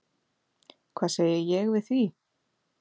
Hvað segi ég við því?